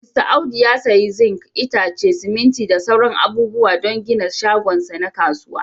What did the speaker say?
Mista Audu ya sayi zinc, itace, siminti da sauran abubuwa don gina shagon sa na kasuwa.